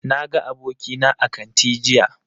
Na ga abokina a kanti jiya